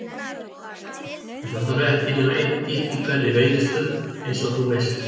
Og það þarf ekki nema einn gikk í hverri veiðistöð, eins og þú veist.